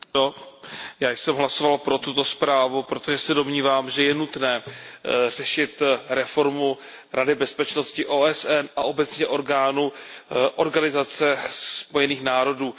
Pane předsedající, já jsem hlasoval pro tuto zprávu, protože se domnívám, že je nutné řešit reformu Rady bezpečnosti OSN a obecně orgánů Organizace spojených národů.